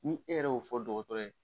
Ni e yɛrɛ y'o fɔ dɔgɔtɔrɔ ye.